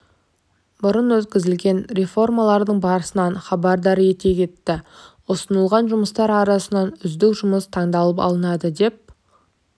бұрын өткізілген реформалардың барысынан хабардар ете кетті ұсынылған жұмыстар арасынан үздік жұмыс таңдалып алынады деп